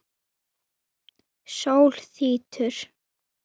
Ávalt hlaðin gjöfum.